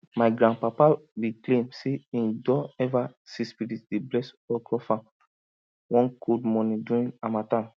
my grandpapa be claim say him don ever see spirit dey bless okro farm one cold morning during harmattan